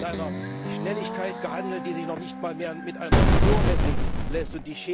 Heute wird mit einer Schnelligkeit gehandelt, die sich noch nicht einmal mehr mit einer Uhr messen lässt.